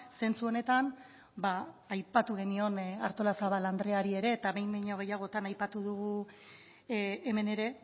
zentzu honetan aipatu genion artola zabala andreari ere eta behin baino gehiagotan aipatu dugu hemen ere